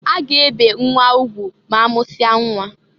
A ga-ebe nnwa ugwu ma amụsia nnwa.